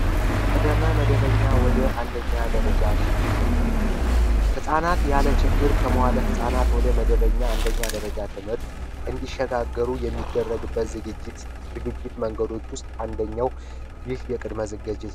ከቅድመ መደበኛ ወደ አንደኛ ደረጃ ሽግግር፦ ህጻናት ያለ ችግር ከመዋለ ህጻናት ወደ አንደኛ ደረጃ ትምህርት እንዲሸጋገሩ የሚደረግበት ዝግጅት መንገዶች ውስጥ አንደኛው ይህ የቅድመ ዝግጅት ነው።